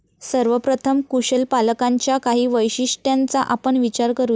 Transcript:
सर्वप्रथम, कुशल पालकांच्या काही वैशिष्ट्यांचा आपण विचार करू या.